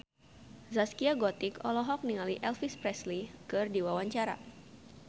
Zaskia Gotik olohok ningali Elvis Presley keur diwawancara